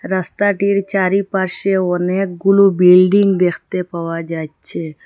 রাস্তাটির চারিপাশে অনেক গুলু বিল্ডিং দেখতে পাওয়া যাচ্ছে।